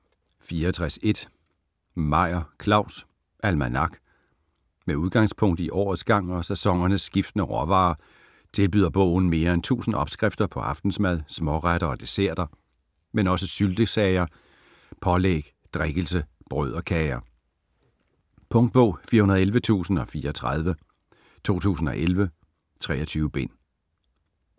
64.1 Meyer, Claus: Almanak Med udgangspunkt i årets gang og sæsonernes skiftende råvarer tilbyder bogen mere end 1000 opskrifter på aftensmad, småretter og desserter, men også syltesager, pålæg, drikkelse, brød og kager. Punktbog 411034 2011. 23 bind.